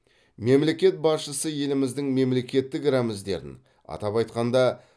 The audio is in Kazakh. мемлекет басшысы еліміздің мемлекеттік рәміздерін атап айтқанда